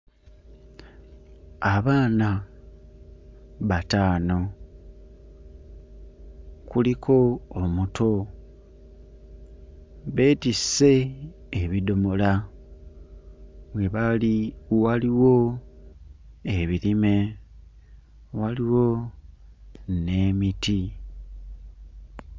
Abaana bataano, kuliko omuto, beetisse ebidomola, we bali waliwo ebirime, waliwo n'emiti.